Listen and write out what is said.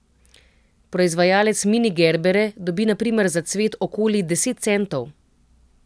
Proizvajalec mini gerbere dobi na primer za cvet okoli deset centov.